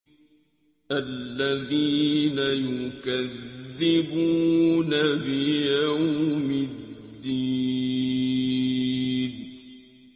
الَّذِينَ يُكَذِّبُونَ بِيَوْمِ الدِّينِ